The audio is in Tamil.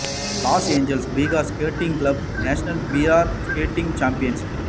loss Angeles figure skating club national pair skating champions